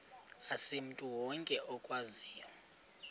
asimntu wonke okwaziyo